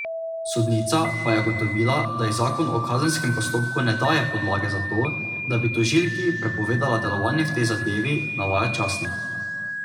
Sodnica pa je ugotovila, da ji zakon o kazenskem postopku ne daje podlage za to, da bi tožilki prepovedala delovanje v tej zadevi, navaja časnik.